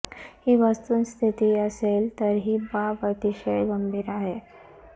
ही वस्तुस्थिती असेल तर ही बाब अतिशय गंभीर आहे